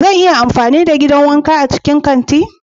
Zan iya amfani da gidan wanka a cikin kanti?